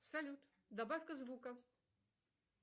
салют добавь ка звука